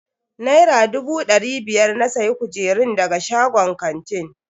Naira dubu dari biyar na siya kujerun daga shagon kantin.